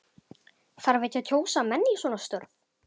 Þarf ekki að kjósa menn í svona störf?